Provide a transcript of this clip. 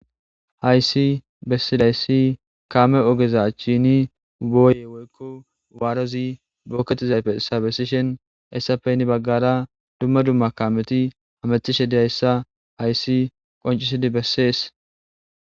Hayssi bessidayssi kaame ogeza achchiini booye woykko waarozi bookketizayfe bessishin essape heni baggara dumma dumma kaameti hamathishe diyayssa hayssi qonccisidi bessees.